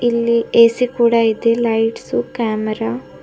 ಇಲ್ಲಿ ಎ_ಸಿ ಕೂಡ ಇದೆ ಲೈಟ್ಸು ಕ್ಯಾಮರಾ --